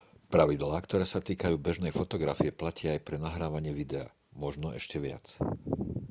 pravidlá ktoré sa týkajú bežnej fotografie platia aj pre nahrávanie videa možno ešte viac